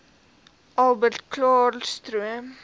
prins albertklaarstroom